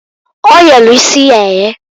O yelu isi ya eye.